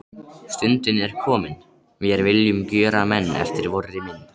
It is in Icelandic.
Stundin er komin: Vér viljum gjöra menn eftir vorri mynd.